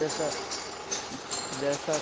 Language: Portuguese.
dessa dessa